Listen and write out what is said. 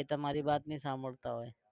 એ તમારી વાત નહિ સાંભાળતા હોય.